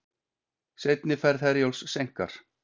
Seinni ferð Herjólfs seinkar